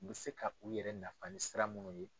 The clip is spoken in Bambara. U bɛ se k'u yɛrɛ nafa ni sira minnu ye.